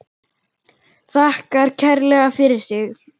Þakkar kærlega fyrir sig.